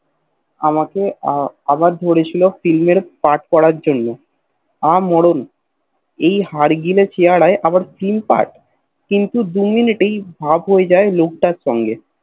কাল আমাকে আবার ধরে ছিল ফ্লিম এ পাট করার জন্য আ মরণ এই হাড় গিলে চেহেরই আবার Flim পাট কিন্তু দু মিনিটেই ভাব হয়ে যায় লোকটার সঙ্গে